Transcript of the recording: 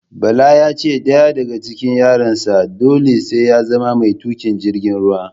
Bala yace ɗaya daga cikin yaran sa dole sai ya zama mai tuƙin jirgin ruwa